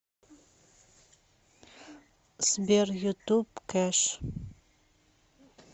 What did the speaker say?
сбер ютуб кэш